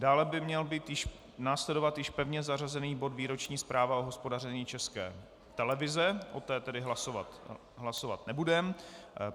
Dále by měl následovat již pevně zařazený bod výroční zpráva o hospodaření České televize, o tom tedy hlasovat nebudeme.